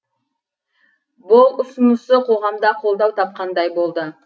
бұл ұсынысы қоғамда қолдау тапқандай болды